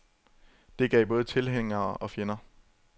Det gav både tilhængere og fjender.